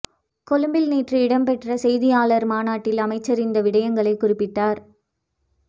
கொழும்பில் நேற்று இடம்பெற்ற செய்தியாளர் மாநாட்டில் அமைச்சர் இந்த விடயங்களை குறிப்பிட்டார்